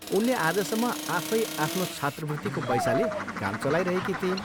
उनले आजसम्म आफै आफ्नो छात्रवृत्तिको पैसाले काम चलाइरहेकी थिइन्।